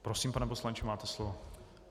Prosím, pane poslanče, máte slovo.